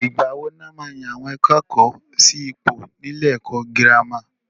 Ìgbà wo ni wọ́n maá yan àwọn akẹ́kọ̀ọ́ sí ipò ni ilé ẹ̀kọ́ girama?